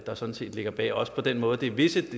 der sådan set ligger bag og også på den måde det visse